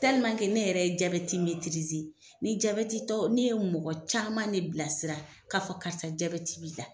ne yɛrɛ ye jaabɛti ni jaabɛti tɔ ne ye mɔgɔ caman ne bilasira k'a fɔ karisa jaabeti b'i la.